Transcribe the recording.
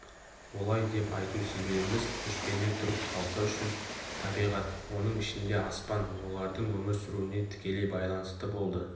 олай деп айту себебіміз көшпенді түрік халқы үшін табиғат оның ішінде аспан олардың өмір сүруіне тікелей байланысты болды